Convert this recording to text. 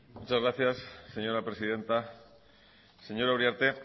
muchas gracias señora presidenta señora uriarte